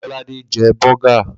Lolade jẹ bọ́gà